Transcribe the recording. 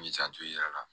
M'i janto i yɛrɛ la